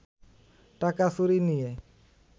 টাকা চুরি নিয়ে